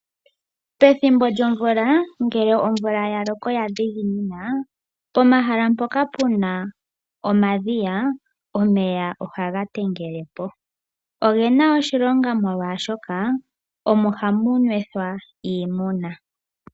Pethimbo lyomvula ngele omvula ya loko ya dhiginina pomahala mpoka pu na omadhiya, omeya oha ga tengele po. Ogena oshilonga molwashoka omo hamu nwethwa iimuna.